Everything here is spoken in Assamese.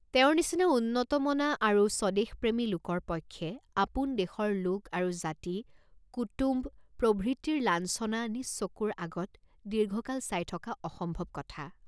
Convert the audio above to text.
তেওঁৰ নিচিনা উন্নতমনা আৰু স্বদেশপ্ৰেমী লোকৰ পক্ষে আপোন দেশৰ লোক আৰু জাতি, কুটুম্ব প্ৰভৃতিৰ লাঞ্ছনা নিজ চকুৰ আগত দীৰ্ঘকাল চাই থকা অসম্ভৱ কথা।